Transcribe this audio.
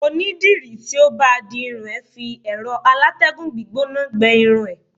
oni diri ti o ba di irun e fi ero alategun gbígbóná gbe irun e